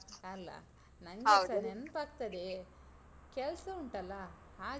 ಅಲಾ? ನಂಗೆ ಸ ನೆನಪಾಗ್ತದೆ. ಕೆಲ್ಸ ಉಂಟಲ್ಲಾ ಹಾಗೆ.